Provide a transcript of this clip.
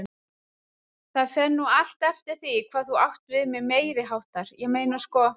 Það fer nú allt eftir því hvað þú átt við með meiriháttar, ég meina sko.